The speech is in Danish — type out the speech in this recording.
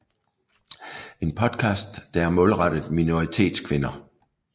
En podcast der er målrettet minoritetskvinder